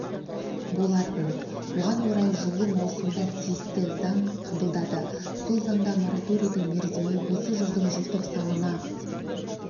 болатын оған орай жылы маусымда тиісті заң қабылдады сол заңда мораторийдің мерзімі осы жылдың желтоқсанына